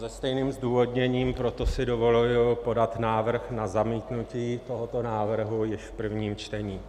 Se stejným zdůvodněním, proto si dovoluji podat návrh na zamítnutí tohoto návrhu již v prvním čtení.